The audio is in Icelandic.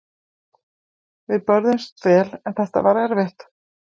Við börðumst vel en þetta var erfitt.